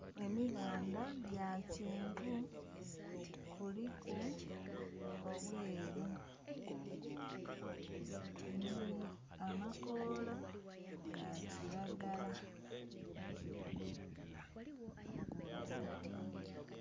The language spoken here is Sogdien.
Emibandha gya kyenvu kuliku obweru nho amakoola ga kilagala.